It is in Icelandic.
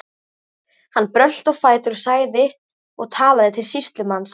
Hann brölti á fætur og sagði og talaði til sýslumanns